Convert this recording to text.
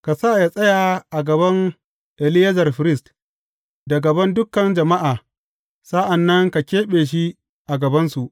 Ka sa yă tsaya a gaban Eleyazar firist, da gaban dukan jama’a, sa’an nan ka keɓe shi a gabansu.